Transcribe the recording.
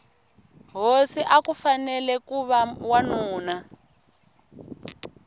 hosi akufanele kuva wanuna